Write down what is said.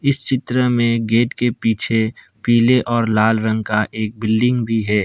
इस चित्र मे गेट के पीछे पीले और लाल रंग का एक बिल्डिंग भी है।